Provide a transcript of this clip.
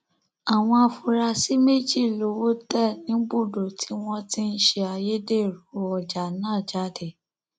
àwọn afurasí méjì lowó tẹ níbùdó tí wọn ti ń ṣe ayédèrú ọjà náà jáde